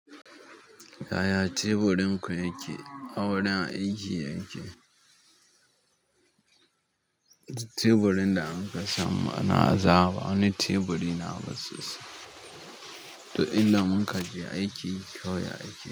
Yaya teburin ku yake, a wurin aiki yake? Teburin da anka samu ana azawa ba, wani teburi nawa ba sosai to inda mun kaje aiki kawai ya ake.